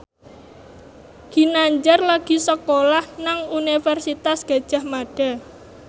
Ginanjar lagi sekolah nang Universitas Gadjah Mada